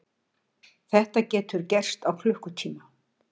Þetta getur gerst á klukkutíma.